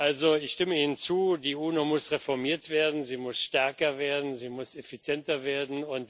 Also ich stimme Ihnen zu Die UNO muss reformiert werden, sie muss stärker werden, sie muss effizienter werden.